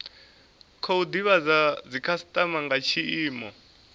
khou divhadza dzikhasitama nga tshiimo